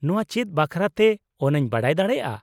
ᱱᱚᱶᱟ ᱪᱮᱫ ᱵᱟᱠᱷᱨᱟᱛᱮ ᱚᱱᱟᱧ ᱵᱟᱰᱟᱭ ᱫᱟᱲᱮᱭᱟᱜᱼᱟ ?